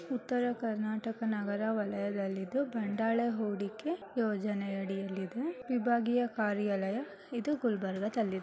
ಉತ್ತರ ಕರ್ನಾಟಕ ನಗರ ವಲಯದಲ್ಲಿದ್ದು ಬಂಡಾಳ ಹೂಡಿಕೆ ಯೋಜನೆ ಅಡಿಯಲ್ಲಿದೆ ವಿಭಾಗಿಯ ಕಾರ್ಯಾಲಯ ಇದು ಗುಲ್ಬರ್ಗದಲ್ಲಿದೆ .